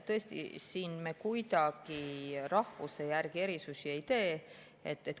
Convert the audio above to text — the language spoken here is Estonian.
Tõesti, siin me rahvuse järgi erisusi kuidagi ei tee.